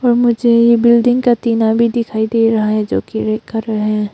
और मुझे यह बिल्डिंग का टीना भी दिखाई दे रहा है जो कि रेड कलर है।